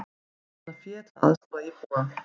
Safna fé til að aðstoða íbúa